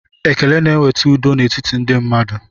Ekele na-eweta udo n'etiti ndị mmadụ